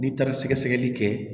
N'i taara sɛgɛsɛgɛli kɛ